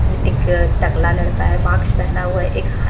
एक टकला लड़का मास्क पहना हुआ है एक हा--